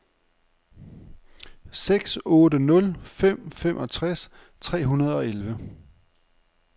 seks otte nul fem femogtres tre hundrede og elleve